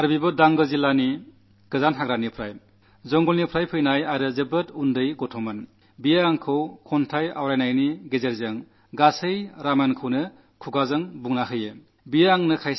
അവിടെ ഡാംഗ് ജില്ലയിലെ അഗമ്യമായ കാട്ടിൽ നിന്നെത്തിയ ലോകം കാണാനാവാത്ത ഒരു ചെറിയ കുട്ടി ഗൌരീ ശാർദ്ദൂലിന് രാമായണം മുഴുവൻ കാണാതെ ചൊല്ലാനറിയാം